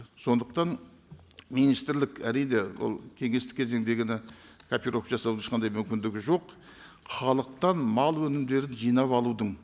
сондықтан министрлік әрине ол кеңестік кезеңдегіні копировка жасаудың ешқандай мүмкіндігі жоқ халықтан мал өнімдерін жинап алудың